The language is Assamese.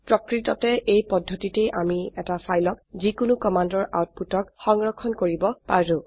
প্ৰকৃততে এই পদ্ধতিতে আমি এটি ফাইলক যিকোনো কমান্ডৰ আউটপুটক সংৰক্ষণ কৰিব পাৰো